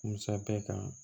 Musa bɛɛ kan